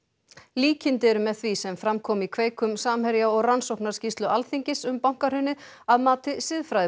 líkindi eru með því sem fram kom í kveik um Samherja og rannsóknarskýrslu Alþingis um bankahrunið að mati